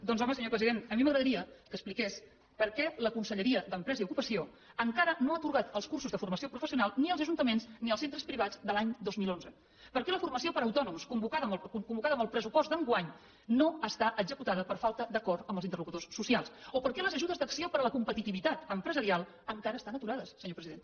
doncs home senyor president a mi m’agradaria que expliqués per què la conselleria d’empresa i ocupació encara no ha atorgat els cursos de formació professional ni als ajuntaments ni als centres privats de l’any dos mil onze per què la formació per a autònoms convocada amb el pressupost d’enguany no està executada per falta d’acord amb els interlocutors socials o per què les ajudes d’acció per a la competitivitat empresarial encara estan aturades senyor president